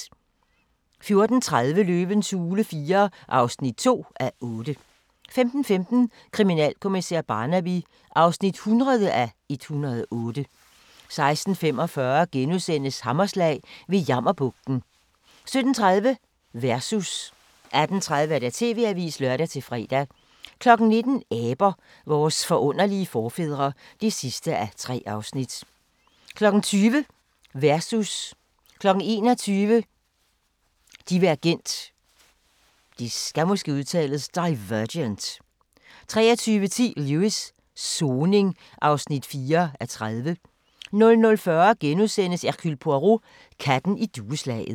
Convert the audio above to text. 14:30: Løvens hule IV (2:8) 15:15: Kriminalkommissær Barnaby (100:108) 16:45: Hammerslag – ved Jammerbugten * 17:30: Versus 18:30: TV-avisen (lør-fre) 19:00: Aber – vores forunderlige forfædre (3:3) 20:00: Versus 21:00: Divergent 23:10: Lewis: Soning (4:30) 00:40: Hercule Poirot: Katten i dueslaget *